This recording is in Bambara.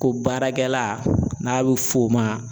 Ko baarakɛla n'a bɛ fɔ o ma.